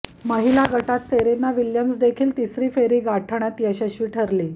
महिला गटात सेरेना विलियम्सदेखील तिसरी फेरी गाठण्यात यशस्वी ठरली